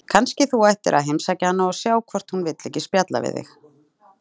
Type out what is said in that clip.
Kannski þú ættir að heimsækja hana og sjá hvort hún vill ekki spjalla við þig?